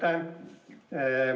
Aitäh!